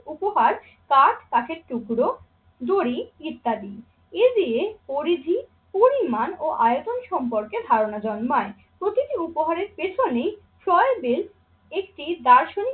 উপহার কাঠ, কাঠের টুকরো, দড়ি ইত্যাদি। এ দিয়ে পরিধি, পরিমাণ ও আয়তন সম্পর্কে ধারণা জন্মায়। প্রতিটি উপহারের পেছনেই ছয় বিল একটি দার্শনিক